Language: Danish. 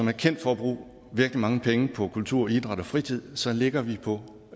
er kendt for at bruge virkelig mange penge på kultur idræt og fritid så ligger vi på